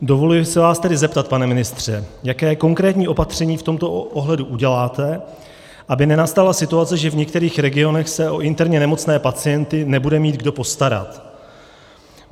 Dovoluji se vás tedy zeptat, pane ministře, jaké konkrétní opatření v tomto ohledu uděláte, aby nenastala situace, že v některých regionech se o interně nemocné pacienty nebude mít kdo postarat.